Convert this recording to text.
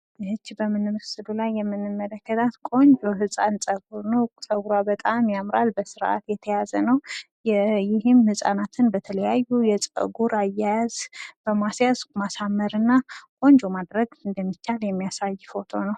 ይቺ በምስሉ ላይ የምንመለከተው ቆንጆ ህፃን ፀጉር ነው። ፀጉሯ በጣም ያምራል። በስርዓት የተያዘ ነው። ይህም ህጻናትን በተለያየ ፀጉር አያያዝ በማስያዝ ማሳመር እና ቆንጆ ማድረግ እንደሚቻል የሚያሳይ ፎቶ ነው።